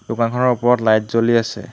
দোকানখনৰ ওপৰত লাইট জ্বলি আছে।